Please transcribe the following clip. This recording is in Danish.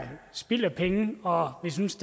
spild af penge og jeg synes